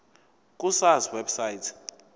ku sars website